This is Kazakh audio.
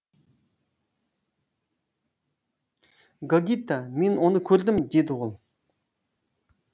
гогита мен оны көрдім деді ол